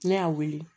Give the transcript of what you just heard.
Ne y'a wele